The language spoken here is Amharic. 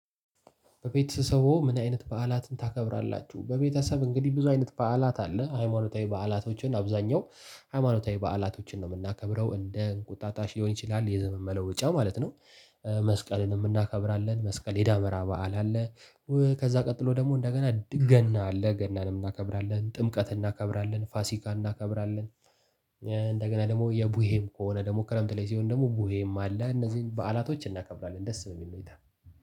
በቤተሰቡ ምን አይነት በዓላትን ታከብራላችሁ? በቤተሰብ እንግዲህ ብዙ አይነት በዓላት አለ ሃይማኖታዊ በዓላቶችን አብዛኛው ሃይማኖታዊ በዓላቶችን ነው የምናከብረው እንደ እንቁጣጣሽ ሊሆን ይችላል የዘመን መለወጫ ማለት ነው። መስቀልንም እናከብራለን መስቀል የዳመራ በዓል አለ። ከዛ ቀጥሎ ደግሞ እንደገና ገና ገና አለ እናከብራለን ጥምቀት እናከብራለን ፋሲካ እናከብራለን። እንደገና ደግሞ የቡሄም ከሆነ ደግሞ ክረምት ላይ ሲሆን ደግሞ ቡሄም አለ እነዚህን በዓላቶች እናከብራለን ደስ በሚል ሁኔታ።